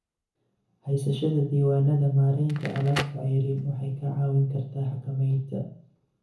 Haysashada diiwaannada maaraynta alaabta ceeriin waxay kaa caawin kartaa xakamaynta.